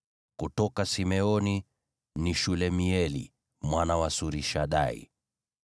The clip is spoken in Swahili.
kutoka Simeoni, ni Shelumieli mwana wa Surishadai;